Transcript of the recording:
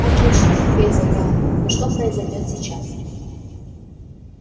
отлично ответил гаал но что произойдёт сейчас